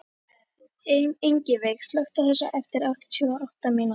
Ingiveig, slökktu á þessu eftir áttatíu og átta mínútur.